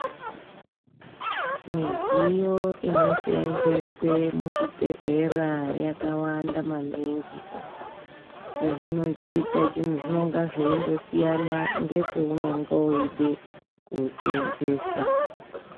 Midziyo inosenzeswe muzvibhehlera yakawanda maningi. Chezvinochiita zvinonga zveindosiyana ngepeunonga weide kusenzesa.